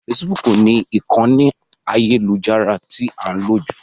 Facebook ni ìkànì ayélujára tí a ń lò jù.